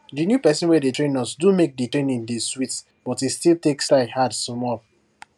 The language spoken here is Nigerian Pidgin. di new person wey dey train us do make di training dey sweet but e still take style hard sumol